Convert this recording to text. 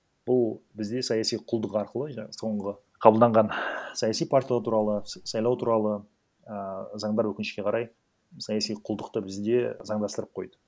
бұл бізде саяси құлдық арқылы соңғы қабылданған саяси туралы сайлау туралы і заңдар өкінішке қарай саяси құлдықты бізде заңдастырып қойды